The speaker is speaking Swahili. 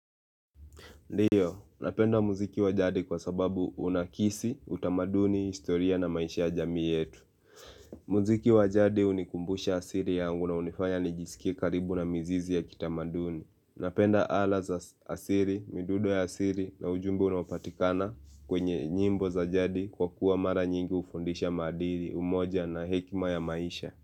Ndiyo, napenda muziki wa jadi kwa sababu unakisi, utamaduni, historia na maisha ya jamii yetu. Muziki wa jadi hunikumbusha asili yangu na hunifanya nijisikie karibu na mizizi ya kitamaduni. Napenda ala za asili, midundo ya asili na ujumbe unaopatikana kwenye nyimbo za jadi kwa kuwa mara nyingi hufundisha maadili, umoja na hekima ya maisha.